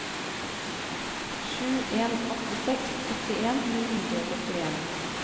sju en åtte seks syttien ni hundre og syttien